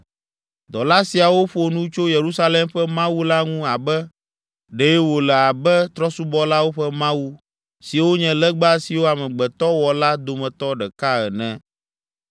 Dɔla siawo ƒo nu tso Yerusalem ƒe Mawu la ŋu abe ɖe wòle abe trɔ̃subɔlawo ƒe mawu, siwo nye legba siwo amegbetɔ wɔ la dometɔ ɖeka ene!